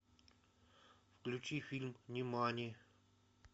включи фильм нимани